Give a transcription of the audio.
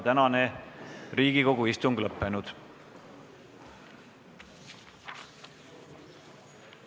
Tänane Riigikogu istung on lõppenud.